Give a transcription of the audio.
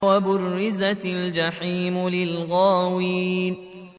وَبُرِّزَتِ الْجَحِيمُ لِلْغَاوِينَ